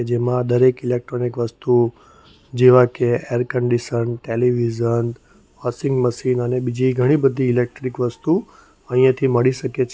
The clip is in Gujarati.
જેમાં દરેક ઇલેક્ટ્રોનિક વસ્તુઓ જેવા કે air condition television washing machine અને બીજી ઘણી બધી ઇલેક્ટ્રીક વસ્તુ અહીંયા થી મળી શકે છે.